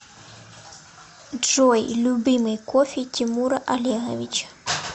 джой любимый кофе тимура олеговича